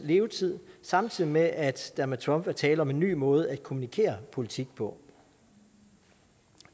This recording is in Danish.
levetid samtidig med at der med trump er tale om en ny måde at kommunikere politik på